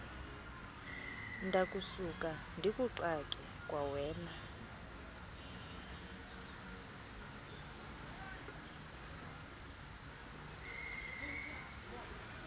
ndakusuka ndikuxake kwawena